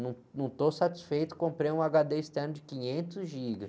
Não, não estou satisfeito, comprei um agá-dê externo de quinhentos gigas.